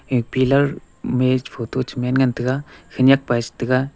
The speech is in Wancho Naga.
e pillar me photo cha man ngan taga khanyak pa e cha taga.